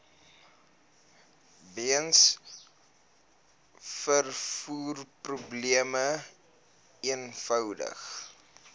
weens vervoerprobleme eenvoudig